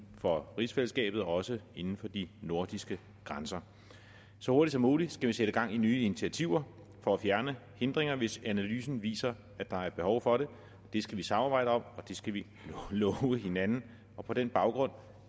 for rigsfællesskabet og også inden for de nordiske grænser så hurtigt som muligt skal vi sætte gang i nye initiativer for at fjerne hindringerne hvis analysen viser at der er behov for det det skal vi samarbejde om og det skal vi love hinanden og på den baggrund